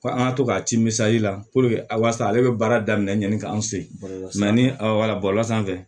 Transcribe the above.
Ko an ka to ka ti misali la ale bɛ baara daminɛ yanni k'an se bɔlɔlɔ sanfɛ